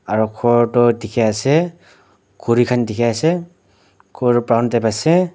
aru gour tu dekhi ase khori khan dekhi ase gour ground te paise.